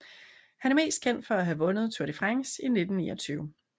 Han er mest kendt for at have vundet Tour de France i 1929